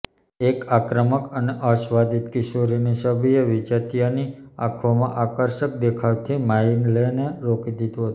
એક આક્રમક અને અસ્વાદિત કિશોરીની છબીએ વિજાતીયાની આંખોમાં આકર્ષક દેખાવાથી માઇલેને રોકી દીધું હતું